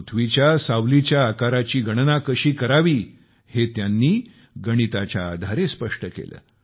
पृथ्वीच्या सावलीच्या आकाराची गणना कशी करावी हे त्यांनी गणिताच्या आधारे स्पष्ट केले